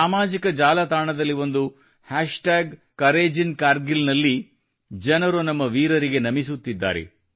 ಸಾಮಾಜಿಕ ಜಾಲತಾಣದಲ್ಲಿ ಒಂದು ಹ್ಯಾಷ್ಟಾಗ್ ಕೌರೇಜಿಂಕರ್ಗಿಲ್ ನಲ್ಲಿ ಜನರು ನಮ್ಮ ವೀರರಿಗೆ ನಮಿಸುತ್ತಿದ್ದಾರೆ